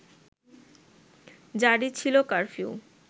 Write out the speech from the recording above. জারি ছিল কারফিউ